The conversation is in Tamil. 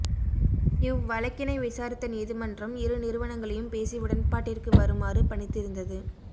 இவ் வழக்கினை விசாரித்த நீதிமன்றம் இரு நிறுவனங்களையும் பேசி உடன்பாட்டிற்கு வருமாறு பணித்திருந்தது